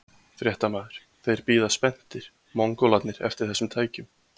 Fréttamaður: Þeir bíða spenntir, Mongólarnir eftir þessum tækjum?